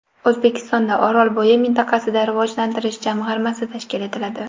O‘zbekistonda Orolbo‘yi mintaqasini rivojlantirish jamg‘armasi tashkil etiladi.